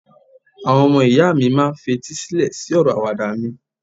àwọn ọmọ ìyá mi ma n fetí sílẹ sí ọrọ Àwàdà mi